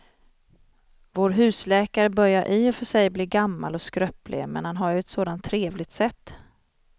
Vår husläkare börjar i och för sig bli gammal och skröplig, men han har ju ett sådant trevligt sätt!